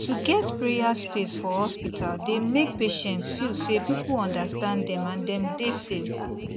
to get prayer space for hospital dey make patients feel say people understand them and dem dey safe